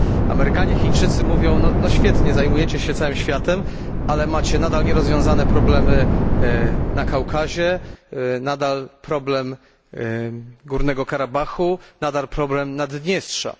Amerykanie, Chińczycy mówią no świetnie, zajmujecie się całym światem, ale macie nadal nierozwiązane problemy na Kaukazie, nadal problem Górnego Karabachu, nadal problem Nadniestrza.